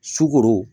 Sukoro